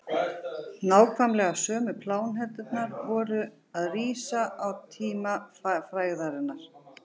nákvæmlega sömu pláneturnar voru að rísa á tíma fæðingarinnar